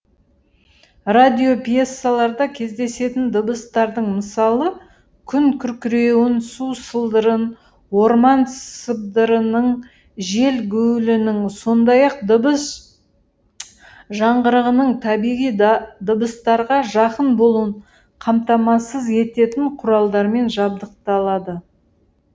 радиопьесаларда кездесетін дыбыстардың мысалы күн күркіреуін су сылдырын орман сыбдырының жел гуілінің сондай ақ дыбыс жаңғырығының табиғи да дыбыстарға жақын болуын қамтамасыз ететін құралдармен жабдықталады